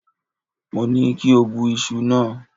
Mo ní kí o bẹ iṣu náà.!